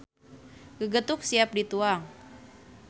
Gegetuk siap dituang.